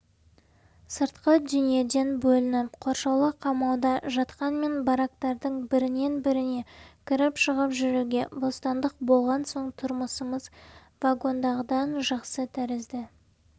сыртқы дүниеден бөлініп қоршаулы қамауда жатқанмен барактардың бірінен-біріне кіріп-шығып жүруге бостандық болған соң тұрмысымыз вагондағыдан жақсы тәрізді